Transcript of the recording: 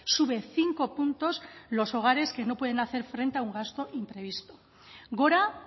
sube cinco puntos los hogares que no pueden hacer frente a un gasto imprevisto gora